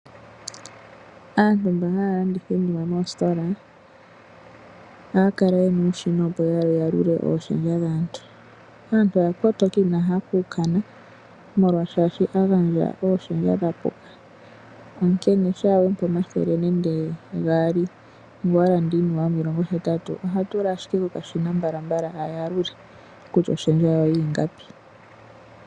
Aantu mboka haya landitha iinima moositola ohaya kala ye na uushina opo ya yalule ooshendja dhaantu. Aantu oya kotoka inaya hala okukana molwashoka a gandja ooshendja dha puka kaamuntu onkene uuna we mu pe nande omathele gaali ngele wa landa iinima yomilongo hetatu oha tula ashike kokashina mbalambala ayalule okutya oshendja yoye ingapi.